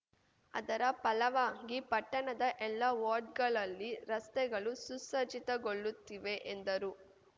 ಅದರ ಫಲವಾಗಿ ಪಟ್ಟಣದ ಎಲ್ಲ ವಾರ್ಡ್‌ಗಳಲ್ಲಿ ರಸ್ತೆಗಳು ಸುಸಜ್ಜಿತಗೊಳ್ಳುತ್ತಿವೆ ಎಂದರು